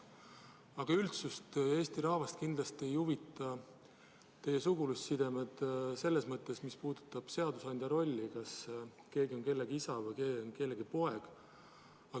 Aga üldsust, Eesti rahvast kindlasti ei huvita teie sugulussidemed, selles mõttes, mis puudutab seadusandja rolli, et kas keegi on kellegi isa või kellegi poeg.